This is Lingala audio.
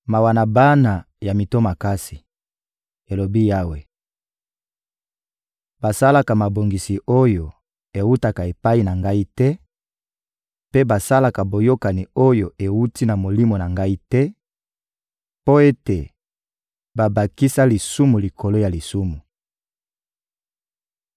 «Mawa na bana ya mito makasi,» elobi Yawe: «basalaka mabongisi oyo ewutaka epai na Ngai te mpe basalaka boyokani oyo ewuti na Molimo na Ngai te, mpo ete babakisa lisumu likolo ya lisumu;